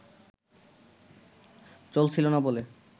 চলছিল না বলে